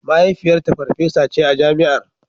Mahaifiyarta farfesa ce a Jami'ar.